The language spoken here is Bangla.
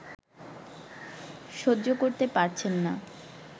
সহ্য করতে পারছেন না